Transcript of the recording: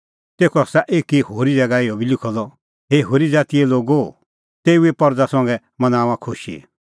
तेखअ आसा एकी होरी ज़ैगा इहअ बी लिखअ द हे होरी ज़ातीए लोगो तेऊए परज़ा संघै मनाऊंआं खुशी